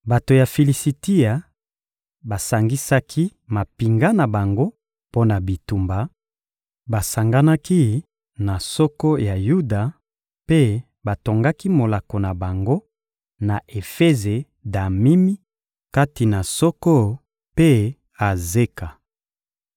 Bato ya Filisitia basangisaki mampinga na bango mpo na bitumba, basanganaki na Soko ya Yuda mpe batongaki molako na bango na Efeze-Damimi, kati na Soko mpe Azeka.